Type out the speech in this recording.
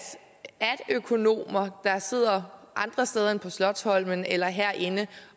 er økonomer der sidder andre steder end på slotsholmen eller herinde